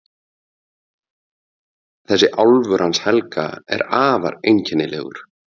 Þessi álfur hans Helga er afar einkennilegur.